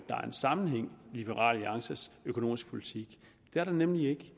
en sammenhæng i liberal alliances økonomiske politik det er der nemlig ikke